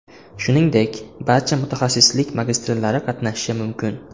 Shuningdek, barcha mutaxassislik magistrlari qatnashishi mumkin.